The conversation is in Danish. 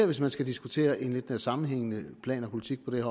hvis man skal diskutere en sammenhængende plan og politik på det